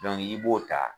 i b'o ta